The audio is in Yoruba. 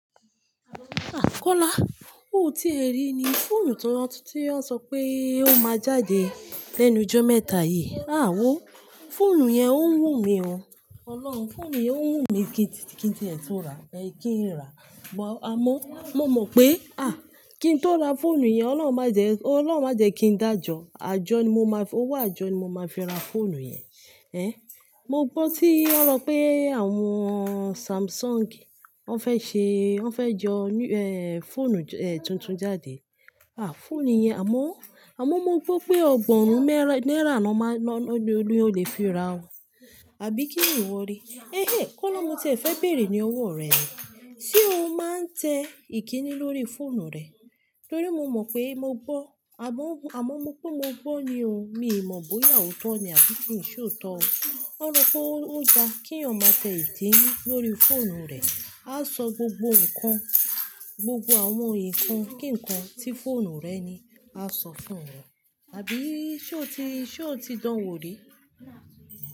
Ah! Kola, ò ti e rí ni fóònù tuntun tí wọ́n sọ pé ó máa jáde lẹ́nu jọ̀ mẹ́ta yìí. Àwóó, fóònù yẹn o wùn mí o. Ọlọ́run, fóònù yẹn ń wùn mí kí n tìẹ tó ra, kí n rà. Àmọ́, mo mọ̀ pé, ah! Kí n tó ra fóònù yẹn, Ọlọ́run má jẹ, Ọlọ́run má jẹ kí n dájọ. Àjọ ni mo máa fi, ówò àjọ ni mo máa fi ra fóònù yẹn. Èh, mo gbọ́ tí wọ́n sọ pé àwọn Samsung wọ́n fẹ́ ṣe, wọ́n fẹ́ jọ ní, fóònù, tuntun jáde. Ah! Fóònù yẹn, àmọ́, àmọ́ mo gbọ́ pé ọgọ́rùn-ún náírà ni wọ́n máa, ni ó lè fi ra o. Àbí kíni ìwọ rí? Eh, eh, Kola mo ti ẹ fẹ béèrè ní ọwọ́ rẹ̀ ni. Ṣé o máa ń tẹ ìkíni lórí fóònù rẹ? Tori mo mọ̀ pé mo gbọ́, àmọ́, àmọ́ mo pe mo gbọ́ ni o, mi ì mọ̀ bóyá ó tọ̀ ni àbí kí i ṣe ó tọ̀ o. Wọ́n ní pé ó dá kí èèyàn ma tẹ ìkíni lórí fóònù rẹ̀, á sọ gbogbo nǹkan, gbogbo àwọn nǹkan kí nǹkan tí fóònù rẹ̀ ni á sọ fún wọn. Àbí ṣe ó ti, ṣe ó ti dán wo rí?